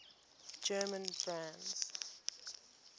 german brands